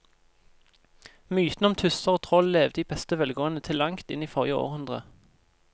Mytene om tusser og troll levde i beste velgående til langt inn i forrige århundre.